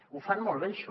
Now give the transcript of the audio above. ho fan molt bé això